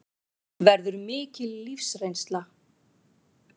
Verður mikil lífsreynsla